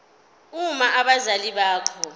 uma abazali bakho